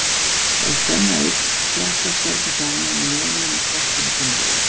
Ef spenna eykst, þjappast bergið saman og neminn í skorpunni sömuleiðis.